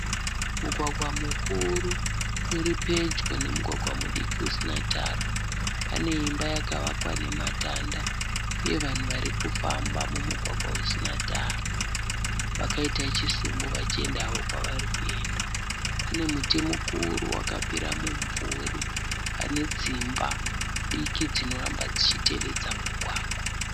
Mugwagwa mukuru uri pedyo nemugwagwa mudiki usina tara. Pane imba yakavakwa nematanda uye vanhu vari kufamba mumugwagwa usina tara vakaita chisumbu vachienda havo kwavari kuenda. Pane muti mukuru wakapira mumvuri pane dzimba diki dzinoramba dzichitevedza mugwagwa.